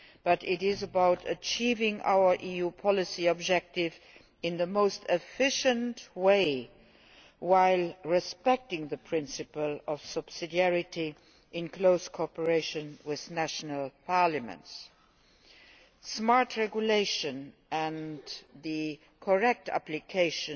They are about achieving our EU policy objective in the most efficient way, while respecting the principle of subsidiarity, in close cooperation with national parliaments. Smart regulation and its correct application